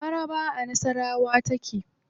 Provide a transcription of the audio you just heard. Mararaba a nasawara take.